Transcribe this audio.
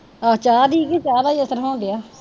ਅਹ ਚਾਹ ਦੀ ਕੀ, ਚਾਹ ਦਾ ਈ ਅਸਰ ਹੋਣ ਡਿਆ।